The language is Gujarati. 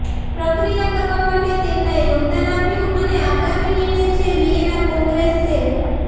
પ્રક્રિયા કરવા માટે તેમના યોગદાન આપ્યું અને આગામી નિર્ણય છે વિયેના કોંગ્રેસ છે